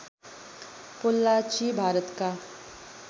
पोल्लाची भारतका